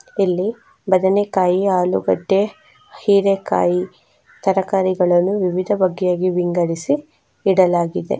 ಇಲ್ಲಿ ಬದನೇಕಾಯಿ ಆಲುಗಡ್ಡೆ ಹಿರೇಕಾಯಿ ತರಕಾರಿಗಳನ್ನು ವಿವಿಧ ಬಗೆಯ ವಿಂಗಡಿಸಿ ಇಡಲಾಗಿದೆ.